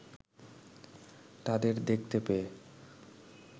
তাদের দেখতে পেয়ে